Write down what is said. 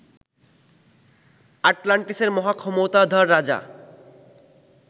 আটলান্টিসের মহাক্ষমতাধর রাজা